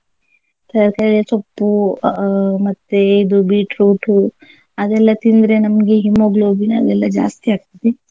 ತರಕಾರಿ ಸೊಪ್ಪು ಅಹ್ ಮತ್ತೆ ಇದು ಬೀಟ್ರೂಟು ಅದೆಲ್ಲಾ ತಿಂದ್ರೆ ನಮ್ಗೆ hemoglobin ಅದೆಲ್ಲಾ ಜಾಸ್ತಿ ಆಗ್ತದೆ.